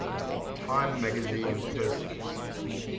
time magazine persons